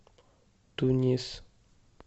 тунис